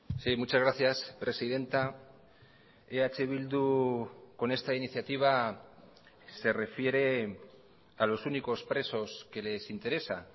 sí muchas gracias presidenta eh bildu con esta iniciativa se refiere a los únicos presos que les interesa